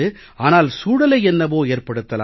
ஆனால் சூழலை என்னவோ ஏற்படுத்தலாம்